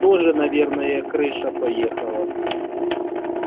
тоже наверное крыша поехала